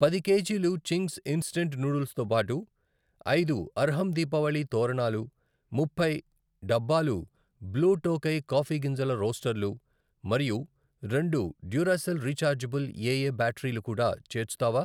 పది కేజీలు Ching's instant noodles తో బాటు, ఐదు అర్హమ్ దీపావళి తోరణాలు, ముప్పై డబ్బాలు బ్లూ టోకై కాఫీ గింజల రోస్టర్లు మరియు రెండు డ్యూరాసెల్ రిచార్జబుల్ ఏఏ బ్యాటరీలు కూడా చేర్చుతావా?